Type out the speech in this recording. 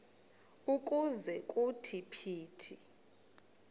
ukuze kuthi phithi